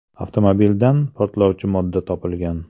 Avtomobildan portlovchi modda topilgan.